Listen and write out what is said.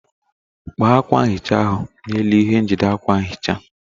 Kpee akwa nhicha ahụ n'elu ihe njide akwa nhicha.